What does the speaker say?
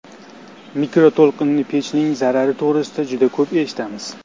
Mikroto‘lqinli pechning zarari to‘g‘risida juda ko‘p eshitamiz.